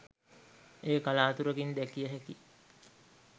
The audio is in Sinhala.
එය කලාතුරකින් දැකිය හැකි